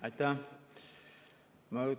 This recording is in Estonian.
Aitäh!